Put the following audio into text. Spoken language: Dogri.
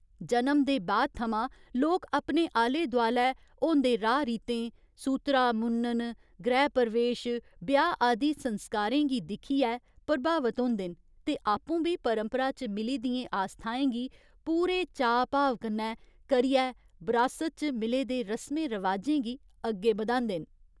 जनम दे बाद थमां, लोक अपने आले दोआलै होंदे राह् रीतें, सूतरा मुन्नन, गृह प्रवेश, ब्याह् आदि संस्कारें गी दिक्खियै प्रभावत होंदे न ते आपूं बी परंपरा च मिली दियें आस्थाएं गी पूरे चाऽ भाव कन्नै करियै बरासत च मिले दे रसमें रवाजें गी अग्गें बधांदे न।